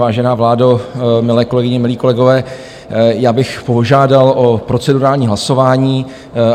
Vážená vládo, milé kolegyně, milí kolegové, já bych požádal o procedurální hlasování.